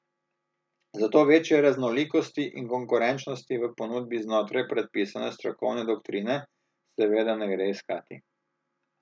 Zato večje raznolikosti in konkurenčnosti v ponudbi znotraj predpisane strokovne doktrine seveda ne gre iskati.